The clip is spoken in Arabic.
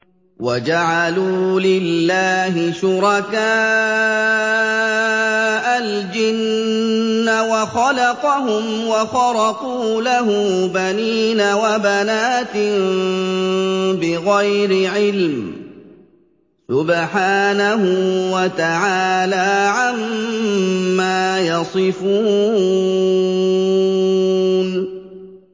وَجَعَلُوا لِلَّهِ شُرَكَاءَ الْجِنَّ وَخَلَقَهُمْ ۖ وَخَرَقُوا لَهُ بَنِينَ وَبَنَاتٍ بِغَيْرِ عِلْمٍ ۚ سُبْحَانَهُ وَتَعَالَىٰ عَمَّا يَصِفُونَ